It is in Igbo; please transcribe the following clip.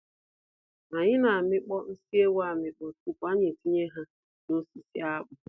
Anyị na amịkpọ nsị ewu amịkpọ tupu anyị etinye ha nosisi akpụ.